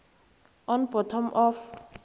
on bottom of